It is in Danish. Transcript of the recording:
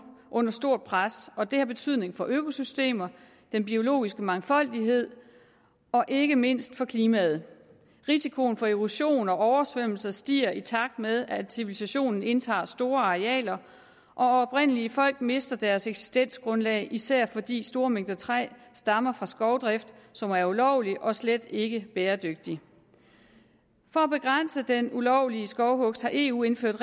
under stort pres og det har betydning for økosystemerne den biologiske mangfoldighed og ikke mindst for klimaet risikoen for erosion og oversvømmelse stiger i takt med at civilisationen indtager store arealer og oprindelige folk mister deres eksistensgrundlag især fordi store mængder træ stammer fra skovdrift som er ulovlig og slet ikke er bæredygtig for at begrænse den ulovlige skovhugst har eu indført